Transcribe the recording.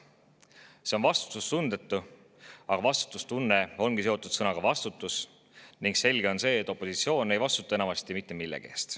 See on vastutustundetu, aga vastutustunne ongi seotud sõnaga "vastutus" ning selge on see, et opositsioon ei vastuta enamasti mitte millegi eest.